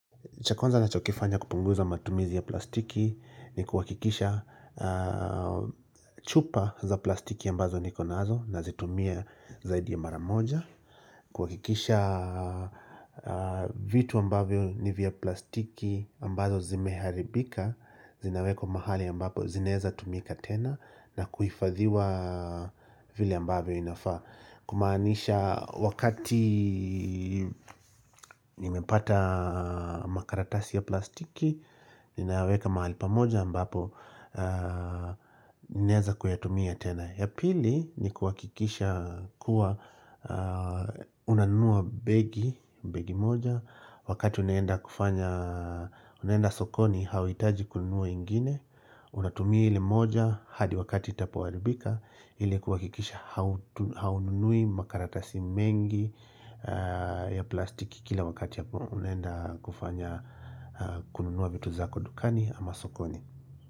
Cha kwanza nina chokifanya kupunguza matumizi ya plastiki ni kuhakikisha chupa za plastiki ambazo nikonazo na zitumia zaidi ya maramoja. Kuhakikisha vitu ambavyo ni vya plastiki ambazo zimeharibika zinawekwa mahali ambapo zinaweza kutumika tena na kuhifadhiwa vile ambavyo inafaa. Kumaanisha wakati nimepata makaratasi ya plastiki Ninaweka mahali pamoja mbapo Naeza kuyatumia tena ya pili ni kuhakikisha kuwa Unanua begi, begi moja Wakati unaenda kufanya Unaenda sokoni hauhitaji kununua ingine Unatumia hili moja hadi wakati itapoharibika ili kuhakikisha haununui makaratasi mengi ya plastiki kila wakati yapo unaenda kufanya kununua vitu zako dukani ama sokoni.